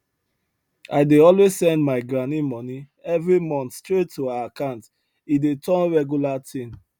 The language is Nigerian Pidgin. i dey always send my granny money every month straight to her account e don turn regular thing